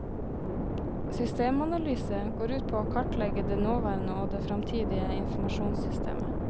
Systemanalyse går ut på å kartlegge det nåværende og det fremtidige informasjonssystemet.